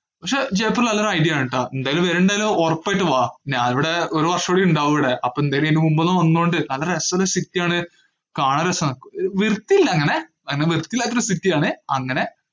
പക്ഷേ ജയ്‌പൂർ നല്ലൊരു idea ആണേട്ടാ, എന്തായാലും വരണുണ്ടല്ലോ, ഒറപ്പായിട്ട് വാ, ഞാനിവിടെ ഒരുവർഷം ഇവിടെ ഇണ്ടാവും ഇവിടെ. അപ്പൊ എന്തായാലും അയിന് മുമ്പ് ഒന്ന് വന്നോണ്ട്, നല്ല രസവുള്ള ഒരു city ആണ്. കാണാൻ രസാണ്. ഏർ വൃത്തിയില്ല അങ്ങനെ. അങ്ങനെ വൃത്തിയില്ലാത്തൊരു city ആണെ, അങ്ങനെ.